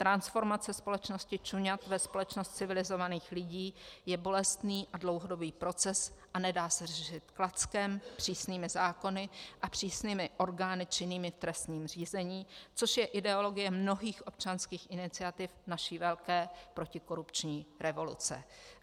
Transformace společnosti čuňat ve společnost civilizovaných lidí je bolestný a dlouhodobý proces a nedá se řešit klackem, přísnými zákony a přísnými orgány činnými v trestním řízení, což je ideologie mnohých občanských iniciativ naší velké protikorupční revoluce.